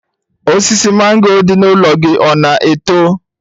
Osisi mango dị n'ụlọ gị ọ na-eto?